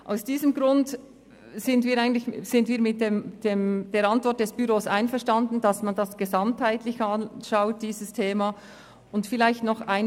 Aus diesem Grund sind wir mit der Antwort des Büros einverstanden, dieses Thema gesamtheitlich zu betrachten.